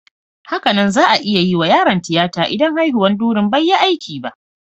Hakanan za'a iya yiwa yaron tiyata idan haihuwan durin bai yi aiki ba.